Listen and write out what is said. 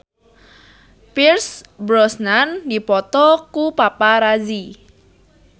Pierce Brosnan dipoto ku paparazi